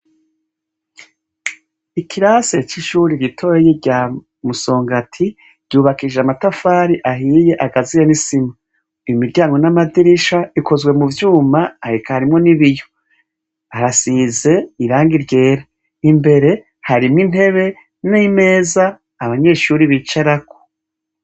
Ikirasi c'ishure ritoyi rya Musongati ryubakishije amatafari ahiye agaziye n'isima, imiryango n' amadirisha bikozwe m'uvyuma eka harimwo n'ibiyo harasize irangi ryera imbere harimwo intebe n'imeza abanyeshure bicarako.